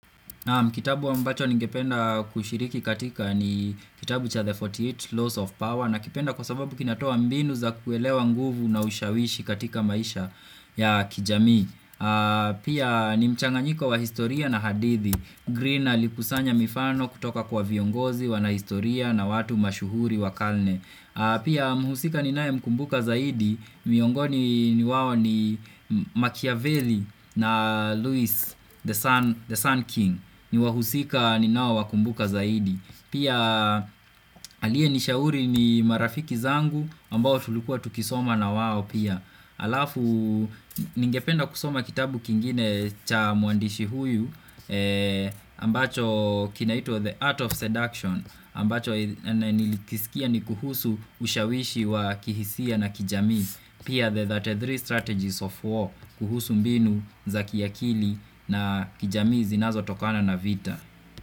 Kitabu ambacho ningependa kushiriki katika ni kitabu cha The 48 Laws of Power na kipenda kwa sababu kinatoa mbinu za kuelewa nguvu na ushawishi katika maisha ya kijamii. Pia ni mchanganyiko wa historia na hadithi. Green aliku sanya mifano kutoka kwa viongozi wana historia na watu mashuhuri wakalne. Pia mhusika ni nae mkumbuka zaidi, miongoni ni wao ni Machiavelli na Lewis, the Sun the Sun King ni wahusika ninaowakumbuka zaidi Pia alie nishauri ni marafiki zangu ambao tulikua tukisoma na wao pia Alafu, ningependa kusoma kitabu kingine cha mwandishi huyu ambacho kinaitwa The Art of Seduction ambacho nilikisikia ni kuhusu ushawishi wa kihisia na kijamii pia the 33 strategies of war kuhusu mbinu za kiakili na kijamii zinazo tokana na vita.